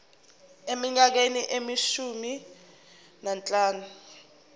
eminyakeni eyishumi nanhlanu